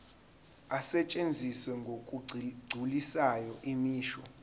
asetshenziswa ngokugculisayo imisho